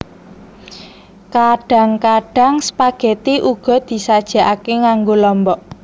Kadhang kadhang spageti uga disajekake nganggo lombok